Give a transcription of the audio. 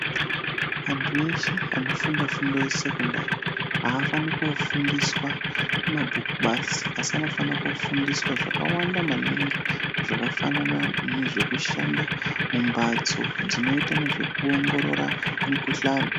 Antu eshe anofunda fundo yesekondari, avafani kufundiswa mabhuku basi, asi anofane kufundiswa zvakawanda maningi, zvakafanana nezve kushanda mumbatso dzinoita nezve kuongorora mikuhlani.